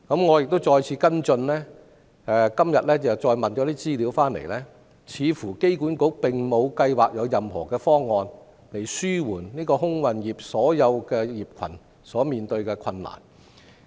我一再跟進，今天得到的資料顯示，機管局似乎沒有計劃提出任何方案，紓緩整個空運業所面對的困難。